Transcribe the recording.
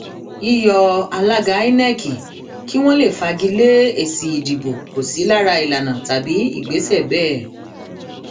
yíyọ alága inec kí wọn lè fagi lé èsì ìdìbò kò sí lára ìlànà tàbí ìgbésẹ bẹẹ